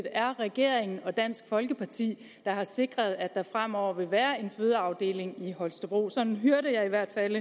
er regeringen og dansk folkeparti der har sikret at der fremover vil være en fødeafdeling i holstebro sådan hørte jeg i hvert fald